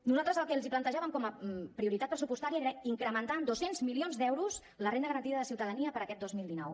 nosaltres el que els plantejàvem com a prioritat pressupostària era incrementar en dos cents milions d’euros la renda garantida de ciutadania per a aquest dos mil dinou